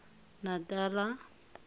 natala